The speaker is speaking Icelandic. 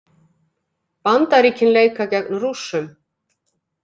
Bandaríkin leika gegn Rússum